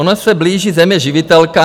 Ona se blíží Země živitelka.